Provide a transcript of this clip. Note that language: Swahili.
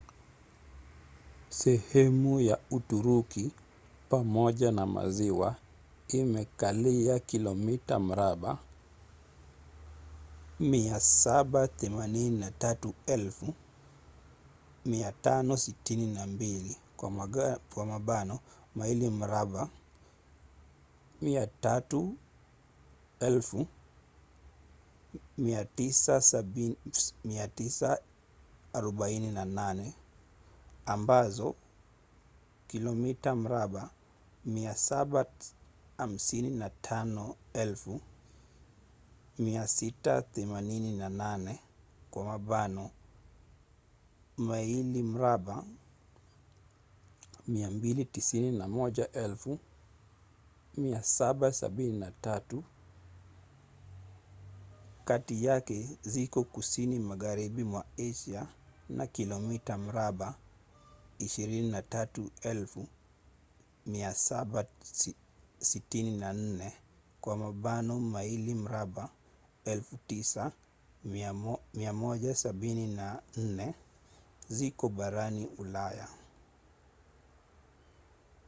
sehemu ya uturuki pamoja na maziwa imekalia kilomita mraba 783 562 maili mraba 300 948 ambazo kilomita mraba 755,688 maili mraba 291,773 kati yake ziko kusini magharibi mwa asia na kilomita mraba 23,764 maili mraba 9,174 ziko barani ulaya